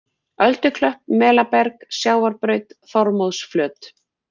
Ölduklöpp, Melaberg, Sjávarbraut, Þormóðsflöt